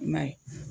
I m'a ye